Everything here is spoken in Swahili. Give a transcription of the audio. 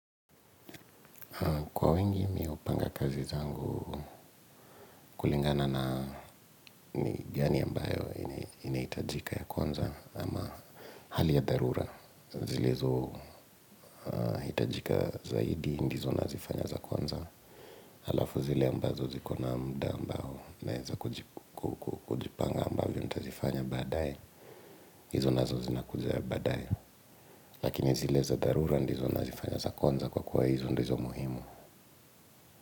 Kwa wingi mi hupanga kazi zangu kulingana na ni gani ambayo inahitajika ya kwanza ama hali ya dharura. Zilizohitajika zaidi ndizo nazifanya za kwanza. Alafu zile ambazo ziko na muda ambao naweza kujipanga ambayo nitazifanya baadaye. Hizo nazo zinakuja baadaye. Lakini zile za dharura ndizo nazifanya za kwanza kwa kuwa hizo ndizo muhimu.